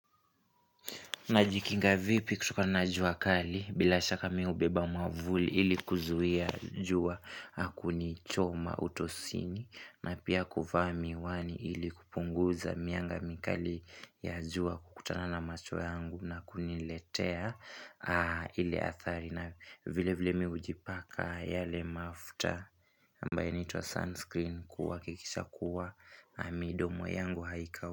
Najikinga vipi kutokana jua kali, bila shaka mimi hubeba mwavuli ili kuzuia jua na kunichoma utosini na pia kuvaa miwani ili kupunguza mianga mikali ya jua kukutana na macho yangu na kuniletea ile athari na vile vile mimi hujipaka yale mafuta ambayo inaitwa sunscreen kuhakikisha kuwa na midomo yangu haikau.